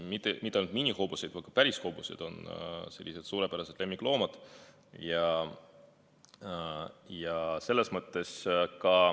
Mitte ainult minihobused, ka päris hobused on suurepärased lemmikloomad.